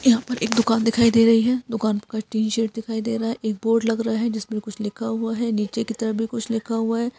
यहाँ पर एक दुकान दिखाई दे रही है दुकान के ऊपर टीन शेड दिखाई दे रहा है एक बोर्ड लग रहा है जिस पर कुछ लिखा हुआ है नीचे की तरफ भी कुछ लिखा हुआ है।